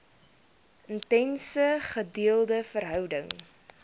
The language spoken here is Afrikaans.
intense gedeelde verhouding